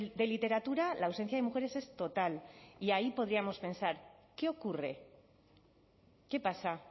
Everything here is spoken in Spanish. de literatura la ausencia de mujeres es total y ahí podríamos pensar qué ocurre qué pasa